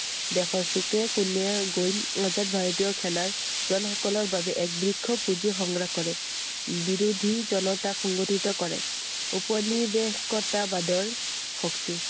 দেশৰ চুকে কোণে গৈ আজাদ ভাৰতীয় সেনাৰ জন সকলৰ বাবে এক বৃক্ষ পুঁজি সংগ্ৰহ কৰে। বিৰোধী জনতাক সংগঠিত কৰে। ঔপনিবেশিকতাবাদৰ ভক্তি।